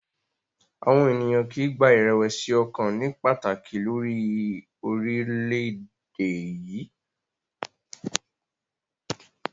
Àwọn ènìyàn kì í gba ìrẹ̀wẹ̀sì ọkàn ní pàtàkì lórí orílẹ̀-èdè yìí.